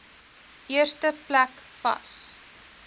eerste plek vas